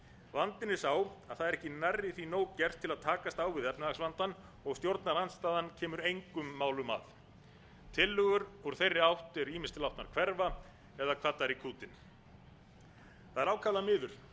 vandinn er sá að það er ekki nærri því nóg gert til að takast á við efnahagsvandann og stjórnarandstaðan kemur engum málum að tillögur úr þeirri átt eru ýmist látnar hverfa eða kvaddar í kútinn það er ákaflega miður vegna þess